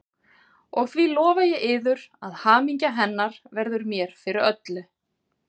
Og því lofa ég yður, að hamingja hennar verður mér fyrir öllu.